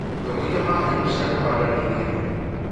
Mbegũ iria maheirwo cia kũhanda nĩ ng'eni